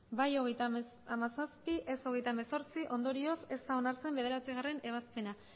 bai hogeita hamazazpi ez hogeita hemezortzi ondorioz ez da onartzen bederatzigarrena ebazpena